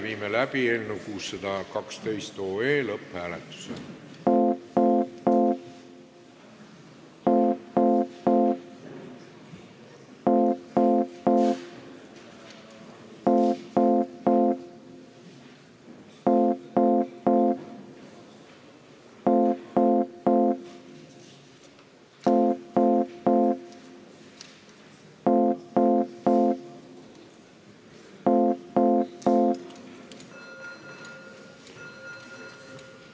Viime läbi eelnõu 612 lõpphääletuse.